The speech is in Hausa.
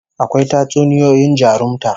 Akwai Tatsuniyoyin jarumta